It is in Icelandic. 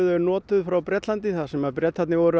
notuð frá Bretlandi þar sem Bretarnir voru